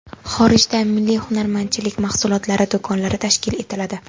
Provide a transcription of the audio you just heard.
Xorijda milliy hunarmandchilik mahsulotlari do‘konlari tashkil etiladi.